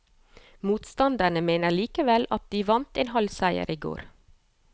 Motstanderne mener likevel at de vant en halv seier i går.